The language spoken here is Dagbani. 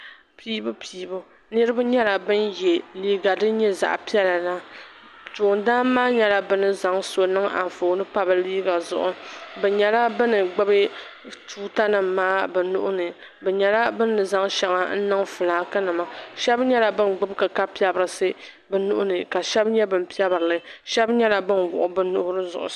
Piibu piibu niriba nyɛla bin ye liiga din nyɛ zaɣa piɛla toondan maa nyɛla bini zaŋ so niŋ anfooni pa bɛ liiga zuɣu bɛ nyɛla bini gbibi tuuta nima maa bɛ nuuni bɛ nyɛla bini zaŋ sheŋɔ niŋ filaaki nima sheba nyɛla bin gbibi kika piprisi bɛ nuhini ka sheba nyɛ ban piprili sheba nyɛla bin wuɣi bɛ nuhiri zuɣusaa.